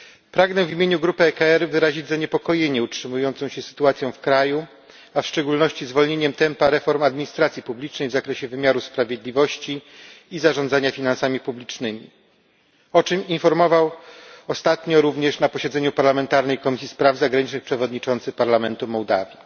Pragnę w imieniu grupy ECR wyrazić zaniepokojenie utrzymującą się sytuacją w kraju, a w szczególności zwolnieniem tempa reform administracji publicznej w zakresie wymiaru sprawiedliwości i zarządzania finansami publicznymi, o czym informował ostatnio również na posiedzeniu parlamentarnej Komisji Spraw Zagranicznych przewodniczący parlamentu Mołdawii.